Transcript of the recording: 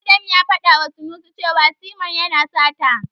Adam ya faɗawa Sanusi cewa Simon yana sata.